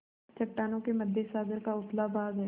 चट्टानों के मध्य सागर का उथला भाग है